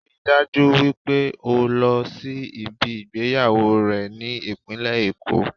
Ríi dájú wípé o lọ sí ibi ìgbéyàwó rẹ̀ ní ìpínlẹ̀ Èkó